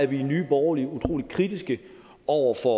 vi i nye borgerlige utrolig kritiske over for